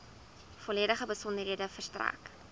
volledige besonderhede verstrek